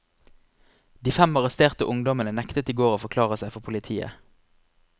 De fem arresterte ungdommene nektet i går å forklare seg for politiet.